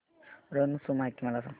रण उत्सव माहिती मला सांग